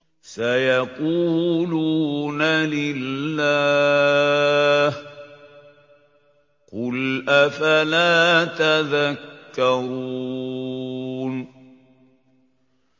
سَيَقُولُونَ لِلَّهِ ۚ قُلْ أَفَلَا تَذَكَّرُونَ